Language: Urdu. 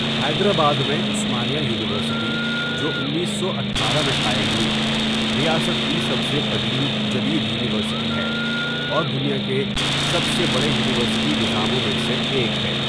حیدرآباد میں عثمانیہ یونیورسٹی، جو انیس سو اٹھارہ میں قائم ہوئی، ریاست کی سب سے قدیم جدید یونیورسٹی ہے اور دنیا کے سب سے بڑے یونیورسٹی نظاموں میں سے ایک ہے۔